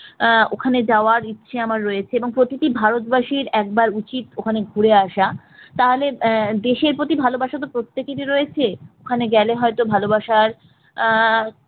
আহ ওখানে যাওয়ার ইচ্ছে আমার রয়েছে এবং প্রতিটি ভারতবাসীর একবার উচিত ওখানে ঘুরে আসা তাহলে আহ দেশের প্রতি ভালোবাসা তো প্রত্যেকেরই রয়েছে ওখানে গেলে হয়তো ভালোবাসার আহ